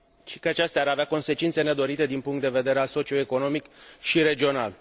și că acestea ar avea consecințe nedorite din punct de vedere socioeconomic și regional.